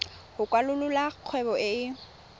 go kwalolola kgwebo e e